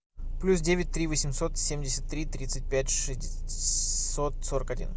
плюс девять три восемьсот семьдесят три тридцать пять шестьсот сорок один